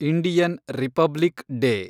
Indian republic day